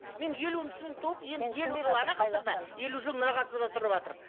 мен елуінші жылы туып енді елу жыл мына ғасырда тұрыватырмын